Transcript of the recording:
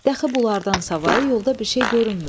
Dəxi bunlardan savayı yolda bir şey görünmürdü.